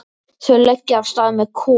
Þau leggja af stað með Kol.